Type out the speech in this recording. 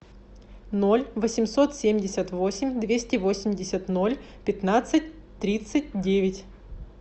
ноль восемьсот семьдесят восемь двести восемьдесят ноль пятнадцать тридцать девять